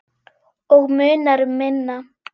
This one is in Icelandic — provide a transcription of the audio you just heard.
Og munar um minna.